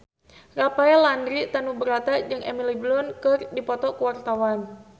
Rafael Landry Tanubrata jeung Emily Blunt keur dipoto ku wartawan